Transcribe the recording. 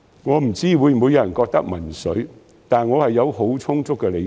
我不知會否有人認為民粹，但我是有很充足的理據的。